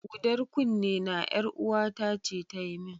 Hudar kunnena, ƴaruwata ce ta yi min.